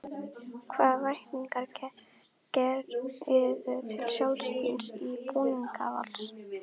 Hvaða væntingar gerirðu til sjálfs þíns í búningi Vals?